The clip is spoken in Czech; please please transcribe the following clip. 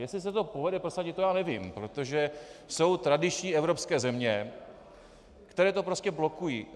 Jestli se to povede prosadit, to já nevím, protože jsou tradiční evropské země, které to prostě blokují.